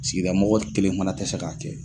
Sigida mɔgɔ kelen fana tɛ se k'a kɛ.